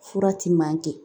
Fura ti